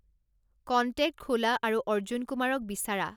contact খোলা আৰু অৰ্জুন কুমাৰক বিচাৰা